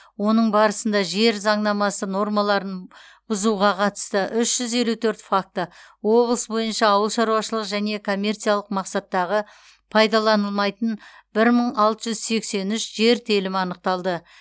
оның барысында жер заңнамасы нормаларын бұзуға қатысты үш жүз елу төрт факті облыс бойынша ауыл шаруашылығы және коммерциялық мақсаттағы пайдаланылмайтын бір мың алты жүз сексен үш жер телімі анықталды